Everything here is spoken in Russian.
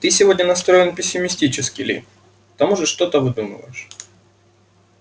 ты сегодня настроен пессимистически ли к тому же что-то выдумываешь